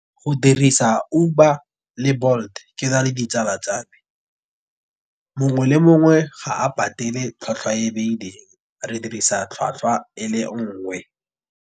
Go dirisa Uber le Bolt ke na le ditsala tsame mongwe le mongwe ga a patele tlhwatlhwa e e beilweng re dirisa tlhwatlhwa e le nngwe.